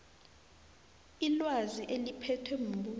ilwazi eliphethwe mbuso